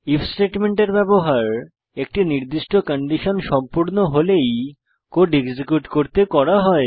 if স্টেটমেন্টের ব্যবহার একটি নির্দিষ্ট কন্ডিশন সম্পূর্ণ হলেই কোড এক্সিকিউট করতে করা হয়